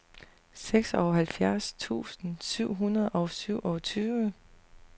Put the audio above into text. seksoghalvfjerds tusind syv hundrede og syvogtyve